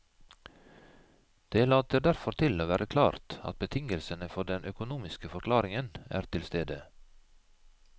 Det later derfor til å være klart at betingelsene for den økonomiske forklaringen er til stede.